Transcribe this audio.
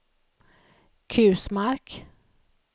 Kusmark